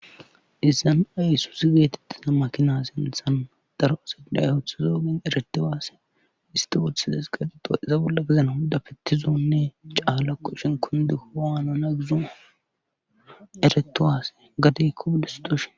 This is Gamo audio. izan aysusi geetettina makina sinthan daro asiday hothu zoogin eretti waase isti wothizes geetetoa iza bolla gezana hudafettizoonne caalla qoshen kundeowaana na gizo eretowaase gadikko wodestoshi